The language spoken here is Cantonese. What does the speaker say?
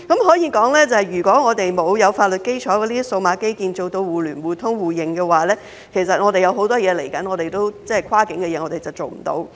可說如果我們沒有具法律基礎的數碼基建，做到互聯互通互認，其實接下來有很多跨境事宜也是無法做到的。